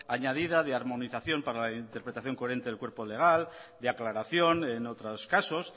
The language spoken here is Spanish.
añadida de armonización para la interpretación coherente del cuerpo legal de aclaración en otros casos